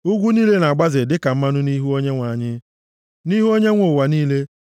Ugwu niile na-agbaze dịka mmanụ nʼihu Onyenwe anyị, nʼihu Onyenwe ụwa niile.